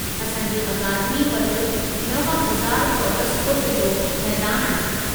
असां जी अकादमी वटि 9000 चौरसि फु़ट जो मैदान आहे।